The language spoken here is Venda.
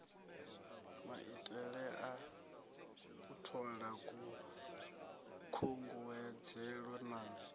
maitelea u thola khunguwedzelo na